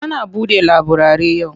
Ana buɗe laburare yau?